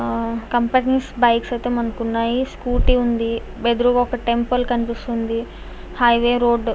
ఆహ్ కంపెనీస్ బైక్‌లు ఐతే మనకి ఉన్నాయి. స్కూటీ ఉంది. ఎదురుగా ఒక టెంపుల్ కన్పిస్తుంది. Highway road --